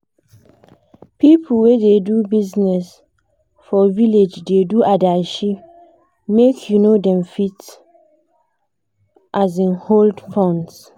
pipu wey da do business for village da do adashi make um dem fit um hold funds